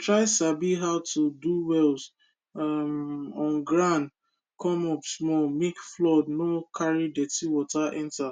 try sabi how to do wells um on ground come up small make flood no carry dirty water enter